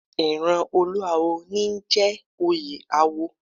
Ìran olúáwo ní í jẹ oyè awo